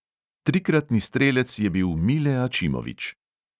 Trikratni strelec je bil mile ačimovič.